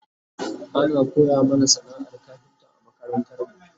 ana koya mana sana'ar kafinta a makarantarmu